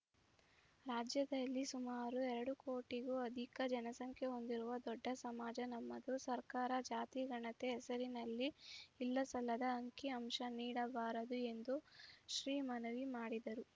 ರಾಜ್ಯದಲ್ಲಿ ಸುಮಾರು ಎರಡು ಕೋಟಿಗೂ ಅಧಿಕ ಜನಸಂಖ್ಯೆ ಹೊಂದಿರುವ ದೊಡ್ಡ ಸಮಾಜ ನಮ್ಮದು ಸರ್ಕಾರ ಜಾತಿ ಗಣತಿ ಹೆಸರಿನಲ್ಲಿ ಇಲ್ಲಸಲ್ಲದ ಅಂಕಿಅಂಶ ನೀಡಬಾರದು ಎಂದು ಶ್ರೀ ಮನವಿ ಮಾಡಿದರು